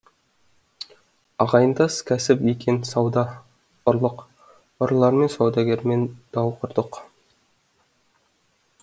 ағайындас кәсіп екен сауда ұрлық ұрылармен саудагермен дау құрдық